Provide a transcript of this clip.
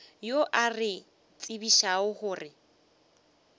yo a re tsebišago gore